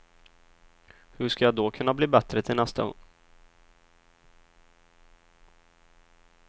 Hur ska jag då kunna bli bättre till nästa gång?